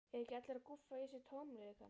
Eru ekki allir að gúffa í sig tómleikann?